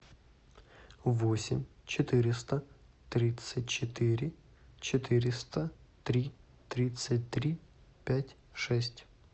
восемь четыреста тридцать четыре четыреста три тридцать три пять шесть